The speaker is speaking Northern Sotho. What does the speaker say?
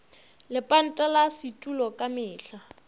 lepanta la setulo ka mehla